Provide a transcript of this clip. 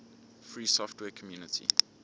free software community